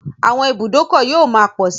Àwọn ibùdókọ̀ yóò máa pọ̀ sí.